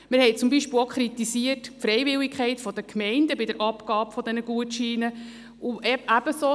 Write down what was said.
Wir haben zum Beispiel auch die Freiwilligkeit für die Gemeinden bei der Abgabe der Gutscheine kritisiert.